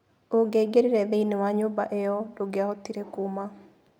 Ũngĩaingĩrire thĩinĩ wa nyũmba ĩyo, ndũngĩahotire kuuma.